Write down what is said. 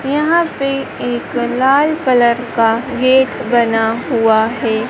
यहां पे एक लाल कलर का गेट बना हुआ है।